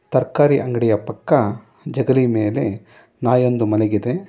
ತರಕಾರಿ ಅಂಗಡಿ ಪಕ್ಕ ಜಗಲಿ ಮೇಲೆ ನಾಯೊಂದು ಮಲಗಿದೆ.